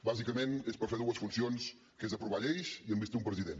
bàsicament és per fer dues funcions que són aprovar lleis i investir un president